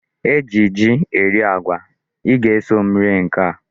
E ji ji eri agwa. I ga-eso m eri nke a.